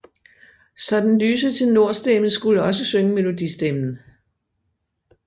Så den lyse tenor stemme skulle også synge melodi stemmen